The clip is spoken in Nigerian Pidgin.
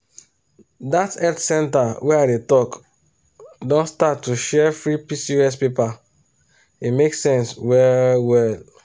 that health center wey i dey talk don start to share free pcos paper e make sense well well.